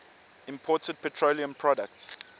imported petroleum products